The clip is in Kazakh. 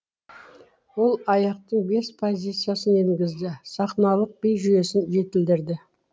ол аяқтың бес позициясын енгізді сахналық би жүйесін жетілдірді